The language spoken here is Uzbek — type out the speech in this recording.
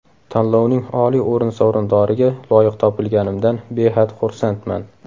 Tanlovning oliy o‘rin sovrindoriga loyiq topilganimdan behad xursandman.